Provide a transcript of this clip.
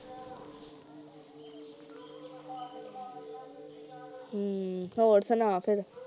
ਹਮ ਹੋਰ ਸੁਣਾ ਫਿਰ